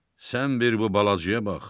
Sən bir bu balacaya bax.